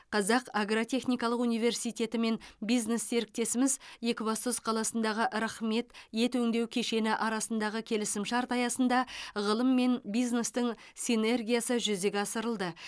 қазақ агротехникалық университетімен бизнес серіктесіміз екібастұз қаласындағы рахмет ет өңдеу кешені арасындағы келісімшарт аясында ғылым мен бизнестің синергиясы жүзеге асырылды